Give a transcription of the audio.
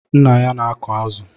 Nna ya na-aku azụ